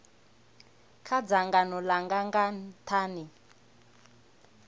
kha dzangano langa nga nthani